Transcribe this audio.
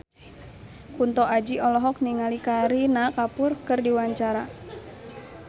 Kunto Aji olohok ningali Kareena Kapoor keur diwawancara